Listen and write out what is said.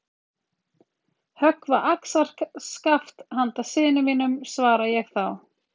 Höggva axarskaft handa syni mínum, svara ég þá.